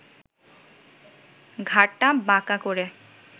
ঘাড়টা বাঁকা করে